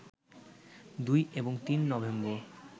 ২ এবং ৩ নভেম্বর